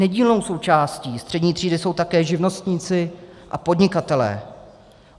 Nedílnou součástí střední třídy jsou také živnostníci a podnikatelé.